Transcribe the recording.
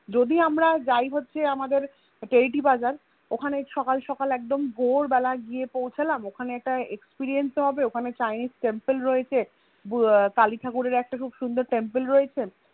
যদি আমরা যাই হচ্ছে আমাদের টেরিটি বাজার অহনে সকাল সকাল একদম ভোর বেলা গিয়ে পৌছালাম ওখানে একটা experience ও হবে খানে Chinese temple রয়েছে কালী ঠাকরের খুব সুন্দর Temple রয়েছে